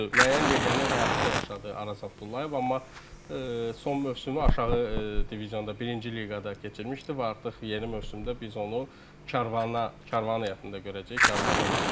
Düzdür, müəyyən legioner həyatı da yaşadı Araz Abdullayev, amma son mövsümü aşağı divizonda, birinci liqada keçirmişdi və artıq yeni mövsümdə biz onu Karvana, Karvan heyətində görəcəyik, Karvanla bir yerdə.